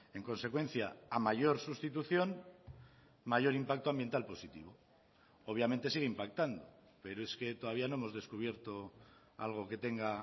en consecuencia a mayor sustitución mayor impacto ambiental positivo obviamente sigue impactando pero es que todavía no hemos descubierto algo que tenga